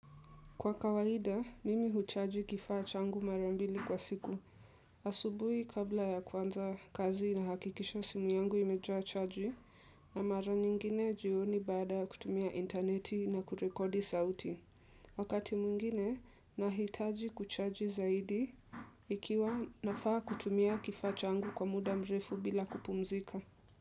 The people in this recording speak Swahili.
Kwa kawaida, mimi huchaji kifaa changu marambili kwa siku. Asubuhi kabla ya kuanza kazi na hakikisha simu yangu imejaa chaji na mara nyingine jioni bada kutumia interneti na kurekodi sauti. Wakati mwingine, nahitaji kuchaji zaidi ikiwa nafaa kutumia kifaa changu kwa muda mrefu bila kupumzika.